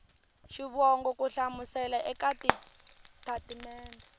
xivongo ku hlamusela eka xitatimede